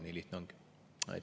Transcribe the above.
Nii lihtne see ongi.